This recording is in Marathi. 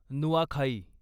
नुआखाई